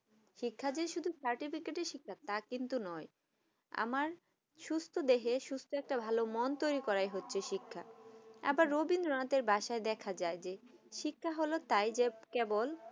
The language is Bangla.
শিক্ষা যদি certificate শিক্ষা তা কিন্তু নয় আমার সুস্থ দেহে সুস্থ একটা ভালো মন তৈরি করা হচ্ছে শিক্ষা আবার রবীন্দ্রনাথ বাসায় দেখেযায় যে শিক্ষা হলো তাই যে কেবল